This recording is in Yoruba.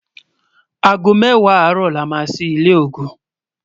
àgó méwàá àró là má sí ilé ògún